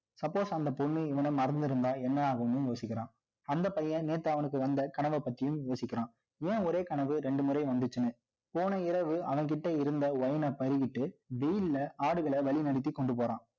Suppose அந்த பொண்ணு, இவனை மறந்திருந்தா, என்ன ஆகும்னு யோசிக்கிறான். அந்த பையன், நேத்து அவனுக்கு வந்த, கனவை பத்தியும் யோசிக்கிறான். ஏன், ஒரே கனவு, இரண்டு முறை வந்துச்சுன்னு. போன இரவு, அவன்கிட்ட இருந்த, wine அ பருகிட்டு, வெயில்ல, ஆடுகளை, வழி நடத்தி, கொண்டு போறான்